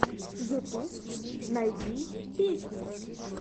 ютуб найди песни